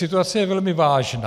Situace je velmi vážná.